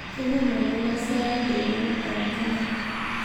Kipimanen ne sait eng emetab kenya